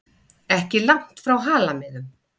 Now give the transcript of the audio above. Ekki langt frá Halamiðum.